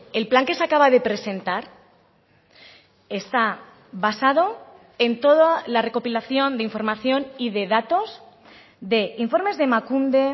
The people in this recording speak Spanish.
el plan que se acaba de presentar está basado en toda la recopilación de información y de datos de informes de emakunde